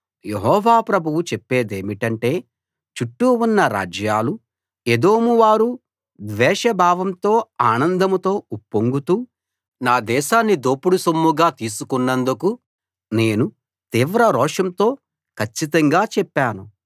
యెహోవా ప్రభువు చెప్పేదేమిటంటే చుట్టూ ఉన్న రాజ్యాలూ ఎదోం వారూ ద్వేష భావంతో ఆనందంతో ఉప్పొంగుతూ నా దేశాన్ని దోపుడు సొమ్ముగా తీసుకున్నందుకు నేను తీవ్ర రోషంతో కచ్చితంగా చెప్పాను